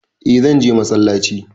Eh zanje masallaci